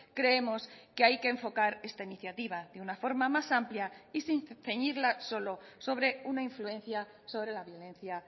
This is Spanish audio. creemos que hay que enfocar esta iniciativa de una forma más amplia y sin ceñirla solo sobre una influencia sobre la violencia